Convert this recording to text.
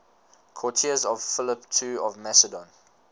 courtiers of philip ii of macedon